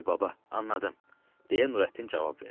Bəli, baba, anladım, deyə Nurəddin cavab verdi.